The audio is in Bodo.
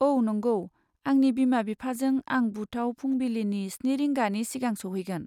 औ नंगौ, आंनि बिमा बिफाजों आं बुथआव फुंबिलिनि स्नि रिंगानि सिगां सौहैगोन।